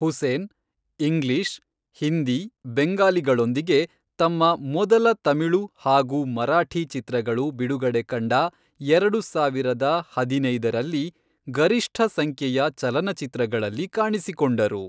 Hussain English, Hindi, ಬೆಂಗಾಲಿಗಳೊಂದಿಗೆ ತಮ್ಮ ಮೊದಲ ತಮಿಳು ಹಾಗೂ ಮರಾಠಿ ಚಿತ್ರಗಳು ಬಿಡುಗಡೆ ಕಂಡ ಎರಡು ಸಾವಿರದ ಹದಿನೈದರಲ್ಲಿ ಗರಿಷ್ಠ ಸಂಖ್ಯೆಯ ಚಲನಚಿತ್ರಗಳಲ್ಲಿ ಕಾಣಿಸಿಕೊಂಡರು.